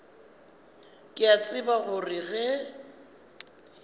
ke a tseba gore ge